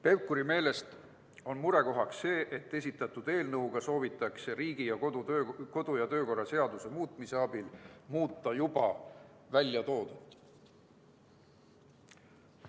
Pevkuri meelest on murekohaks see, et esitatud eelnõuga soovitakse Riigikogu kodu- ja töökorra seaduse muutmise teel muuta väljatoodut.